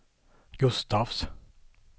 Gustafs